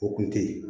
O kun te ye